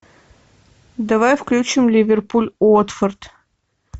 давай включим ливерпуль уотфорд